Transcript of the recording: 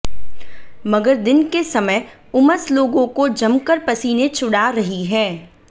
मगर दिन के समय उमस लोगों को जमकर पसीने छुड़ा रही है